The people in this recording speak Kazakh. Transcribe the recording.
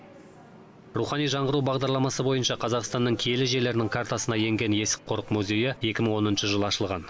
рухани жаңғыру бағдарламасы бойынша қазақстанның киелі жерлерінің картасына енген есік қорық музейі екі мың оныншы жылы ашылған